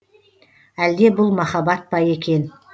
әлде бұл махаббат па екен